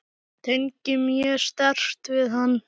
Tengi mjög sterkt við hann.